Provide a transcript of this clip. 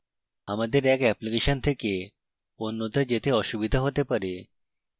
আমাদের এক অ্যাপ্লিকেশন থেকে অন্যতে যেতে অসুবিধা হতে পারে